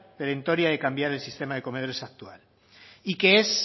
perentoria de cambiar el sistema de comedores actual y que es